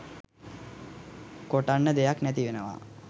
කොටන්න දෙයක් නැති වෙනවා